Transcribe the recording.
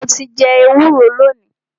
Mo ti jẹ ẹwúro lónìí.